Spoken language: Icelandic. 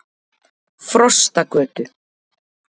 Frostagötu